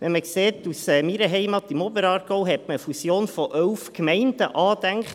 In meiner Heimat im Oberaargau hatte man eine Fusion von elf Gemeinden angedacht.